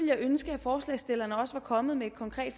jeg ønske at forslagsstillerne også var kommet med et konkret